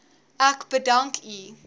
ek bedank u